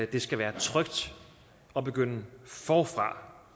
det skal være trygt at begynde forfra